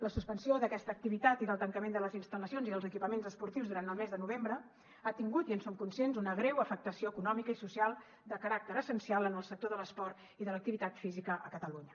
la suspensió d’aquesta activitat i el tancament de les instal·lacions i dels equipaments esportius durant el mes de novembre ha tingut i en som conscients una greu afectació econòmica i social de caràcter essencial en el sector de l’esport i de l’activitat física a catalunya